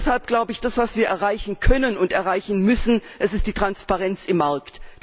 Deshalb glaube ich, das, was wir erreichen können und erreichen müssen, ist die Transparenz auf dem Markt.